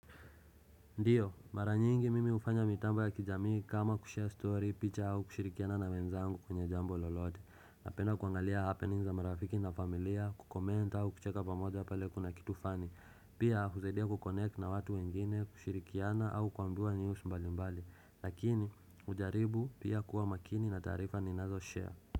Ndiyo, mara nyingi mimi hufanya mitamba ya kijamii kama kushare story, picha au kushirikiana na wenzangu kwenye jambo lolote, napenda kuangalia happenings na marafiki na familia, kucomment au kucheka pamoja ya pale kuna kitu fani, pia husaidia kukonek na watu wengine, kushirikiana au kuandua news mbali mbali, lakini ujaribu pia kuwa makini na tarifa ninazo share.